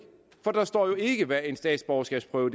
for der står jo ikke hvad en statsborgerskabsprøve